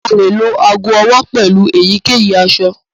A lè lo ago ọwọ pelu èyíkèyí aṣọ.